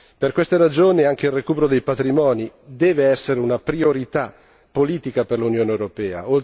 Per queste ragioni anche il recupero dei patrimoni deve essere una priorità politica per l'Unione europea.